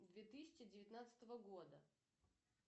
две тысячи девятнадцатого года